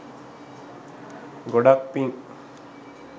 ගොඩාක් පින්.